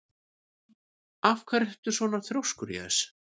Af hverju ertu svona þrjóskur, Jes?